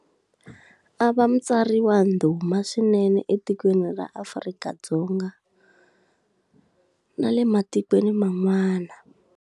A va mutsari wa ndhuma swinene etikweni ra Afrika-Dzonga, na le matikweni man'wana.